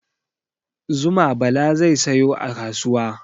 Zuma Bala zai sayo a kasuwa.